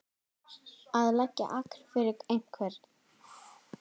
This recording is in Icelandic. Að leggja agn fyrir einhvern